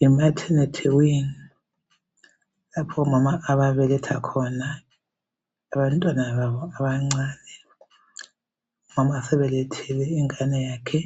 Yi"maternity wing" lapho omama ababeletha khona abantwana babo abancane. Umama sebelethile ingane yakhe